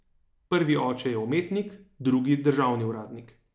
Prvi oče je umetnik, drugi državni uradnik.